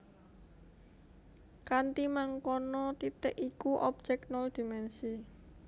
Kanthi mangkono titik iku objèk nol dimènsi